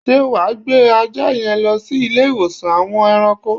Sé wa gbé ajá yen lo sí Ilé iwosan àwon eranko?